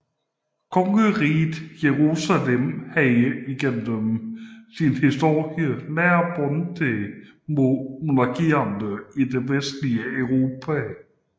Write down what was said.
Kongeriget Jerusalem havde gennem hele sin historie nære bånd til monarkierne i det vestlige Europa